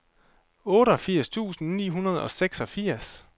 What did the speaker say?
otteogfirs tusind ni hundrede og seksogfirs